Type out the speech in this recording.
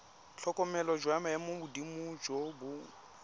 tlhokomelo jwa maemogodimo jo bo